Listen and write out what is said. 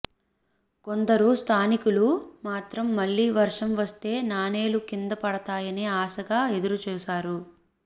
కొందరు స్థానికులు మాత్రం మళ్లీ వర్షం వస్తే నాణేలు కింద పడతాయాని ఆశగా ఎదురు చూశారు